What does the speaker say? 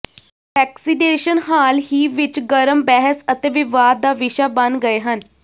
vaccination ਹਾਲ ਹੀ ਵਿਚ ਗਰਮ ਬਹਿਸ ਅਤੇ ਵਿਵਾਦ ਦਾ ਵਿਸ਼ਾ ਬਣ ਗਏ ਹਨ